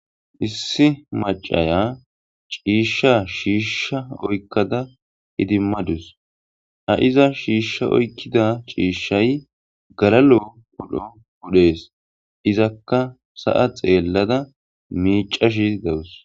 Issi macaya ciishsha shiishsha oykkada hidimmadus ha iza shiishsha oykkida chiishshay galalo podho wudhees izakka sa'a xeellada miicashi dawus.